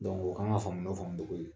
an ka faamu la faamu de koyi